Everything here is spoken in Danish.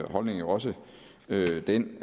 holdning jo også den